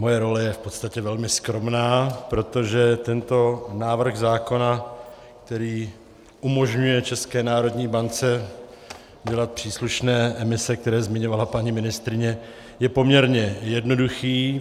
Moje role je v podstatě velmi skromná, protože tento návrh zákona, který umožňuje České národní bance dělat příslušné emise, které zmiňovala paní ministryně, je poměrně jednoduchý.